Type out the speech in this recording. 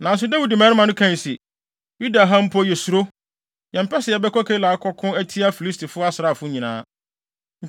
Nanso Dawid mmarima no kae se, “Yuda ha mpo yesuro. Yɛmpɛ sɛ yɛbɛkɔ Keila akɔko atia Filistifo asraafo nyinaa.”